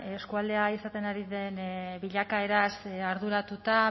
eskualdea izaten ari den bilakaeraz arduratuta